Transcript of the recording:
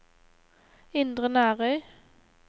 Indre Nærøy